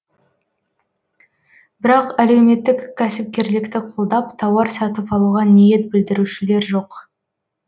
бірақ әлеуметтік кәсіпкерлікті қолдап тауар сатып алуға ниет білдірушілер жоқ